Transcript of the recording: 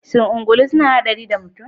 Shin ungulu suna haɗari da mutum